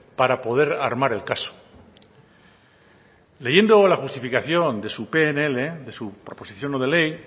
para poder armar el caso leyendo la justificación de su pnl de su proposición no de ley